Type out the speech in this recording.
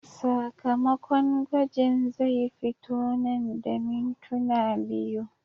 Sakamakon gwajin zai fito nan da mintuna biyu.